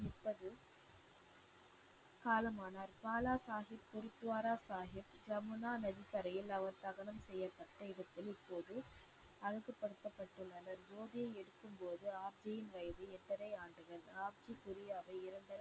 காலமானார். பாலாசாகிப் குருத்வாரா சாகிப் யமுனா நதிக்கரையில் அவர் தகனம் செய்யப்பட்ட இடத்தில் இப்போது அழகுபடுத்தப்பட்டுள்ளது. ஜோதியை எரிக்கும் போது ஆப்ஜியின் வயது எட்டரை ஆண்டுகள். ஆப்ஜி குரியாவை இரண்டரை